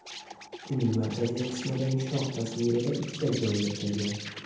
Uning markaziy qismidagi shoh tasvirida uchta joy yirtilgan.